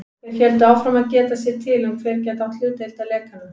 Þeir héldu áfram að geta sér til um, hver gæti átt hlutdeild að lekanum.